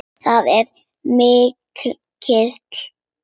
Það er mikið.